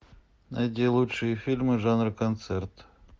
найди лучшие фильмы жанра концерт